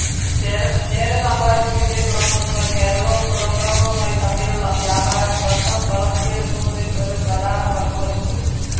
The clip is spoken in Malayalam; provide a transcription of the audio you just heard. ചേര സാമ്രാജ്യത്തിന്റെ തുറമുഖങ്ങൾ കേരളവും പുറംലോകവുമായി തമ്മിലുള്ള വ്യാപാരം ബന്ധം വളർത്തിയെടുക്കുന്നതിൽ ഒരു പ്രധാന പങ്കുവഹിച്ചു.